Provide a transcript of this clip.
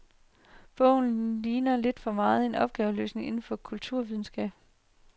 Bogen ligner lidt for meget en opgaveløsning inden for kulturvidenskaben.